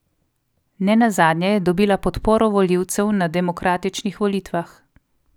Ne nazadnje je dobila podporo volivcev na demokratičnih volitvah.